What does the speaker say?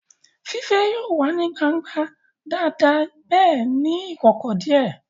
Fífẹ́ yóò wà ní gbangba dáadáa bẹ́ẹ̀ ní ìkọ̀kọ̀ díẹ̀